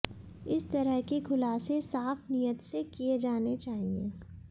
इस तरह के खुलासे साफ नीयत से किए जाने चाहिए